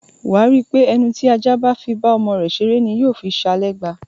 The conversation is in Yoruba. Wà á rí pé ẹnu tí ajá bá fi bá ọmọ rẹ̀ ṣeré ni yóò fi ṣa lẹ́gba.